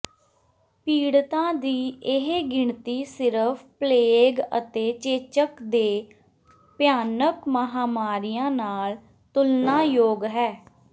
ਪੀੜਤਾਂ ਦੀ ਇਹ ਗਿਣਤੀ ਸਿਰਫ ਪਲੇਗ ਅਤੇ ਚੇਚਕ ਦੇ ਭਿਆਨਕ ਮਹਾਂਮਾਰੀਆਂ ਨਾਲ ਤੁਲਨਾਯੋਗ ਹੈ